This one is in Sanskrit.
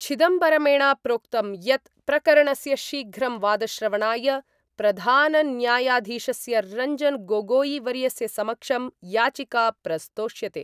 चिदम्बरमेण प्रोक्तम् यत् प्रकरणस्य शीघ्रं वादश्रवणाय प्रधानन्यायधीशस्य रंजन गोगोई वर्यस्य समक्षं याचिका प्रस्तोष्यते।